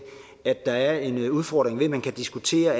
at der er en udfordring ved at man kan diskutere